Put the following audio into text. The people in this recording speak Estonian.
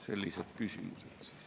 Sellised küsimused.